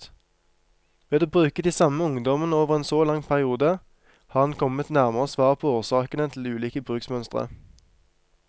Ved å følge de samme ungdommene over en så lang periode, har han kommet nærmere svaret på årsakene til ulike bruksmønstre.